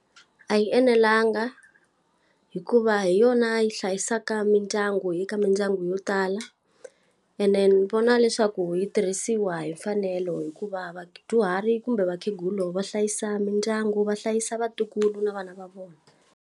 A yi enelangi hikuva hi yona yi hlayisaka mindyangu eka mindyangu yo tala. Ene ni vona leswaku yi tirhisiwa hi mfanelo hikuva vadyuhari kumbe vakhegula va hlayisa mindyangu va hlayisa vatukulu na vana va vona.